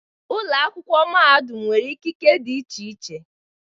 Ụlọ akwụkwọ mahadum nwere ikike dị iche iche